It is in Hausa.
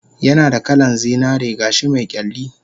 Yanada kalan zinaren gashi me kyalli